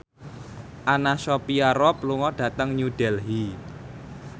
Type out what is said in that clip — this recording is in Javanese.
Anna Sophia Robb lunga dhateng New Delhi